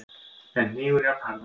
en hnígur jafnharðan.